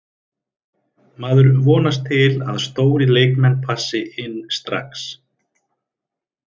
Maður vonast til að stórir leikmenn passi inn strax.